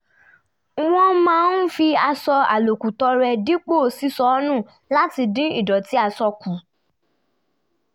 wọ́n máa ń fi aṣọ àlòkù tọrẹ dípò ṣíṣọ nù láti dín ìdọ̀tí aṣọ kù